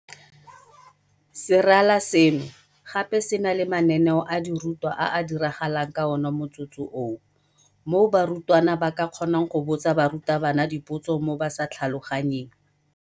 Serala seno gape se na le mananeo a dirutwa a a diragalang ka ona motsotso oo, moo barutwana ba ka kgonang go botsa barutabana dipotso mo ba sa tlhaloganyeng.